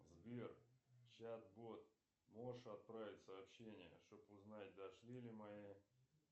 сбер чат бот можешь отправить сообщение чтобы узнать дошли ли мои